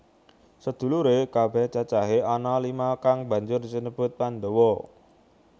Sedhuluré kabèh cacahé ana lima kang banjur sinebut Pandhawa